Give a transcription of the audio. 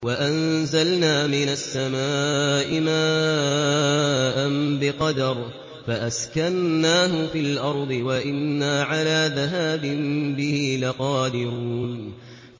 وَأَنزَلْنَا مِنَ السَّمَاءِ مَاءً بِقَدَرٍ فَأَسْكَنَّاهُ فِي الْأَرْضِ ۖ وَإِنَّا عَلَىٰ ذَهَابٍ بِهِ لَقَادِرُونَ